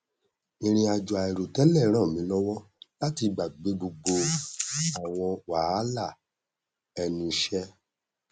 ìrìn àjò àìrò tẹlẹ ràn mí lọwọ láti gbàgbé gbogbo àwọn wàhálà ẹnu iṣẹ